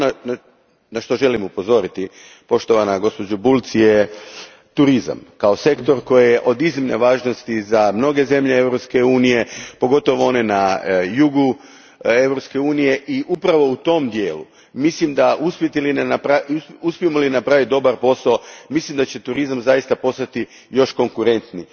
Ono na što želim upozoriti poštovanu gospođu Bulc je turizam, kao sektor koji je od iznimne važnosti za mnoge zemlje Europske unije, pogotovo one na jugu Europske unije, i upravo u tom dijelu, uspijemo li napraviti dobar posao, mislim da će turizam zaista postati još konkurentniji.